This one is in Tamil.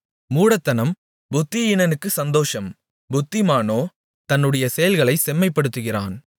மூடத்தனம் புத்தியீனனுக்குச் சந்தோஷம் புத்திமானோ தன்னுடைய செயல்களைச் செம்மைப்படுத்துகிறான்